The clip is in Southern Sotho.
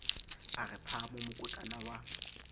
a re phamo mokotlana wa